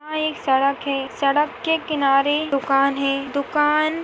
यहाँ एक सड़क है सड़क के किनारे दुकान है दुकान--